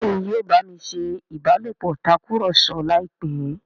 Béèni yóò bámi ṣé ìbálòpọ̀ Tàkùrọ̀sọ láìpé.